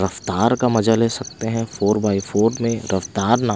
रफ्तार का मजा ले सकते हैं फोर बाई फोर में रफ्तार न--